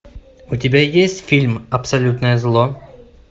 у тебя есть фильм абсолютное зло